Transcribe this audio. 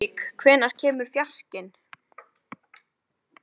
Lúðvík, hvenær kemur fjarkinn?